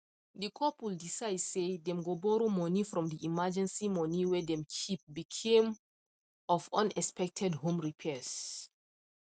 the couple decide say them go borrow money from the emergency money whey them keep became of unexpected home repairs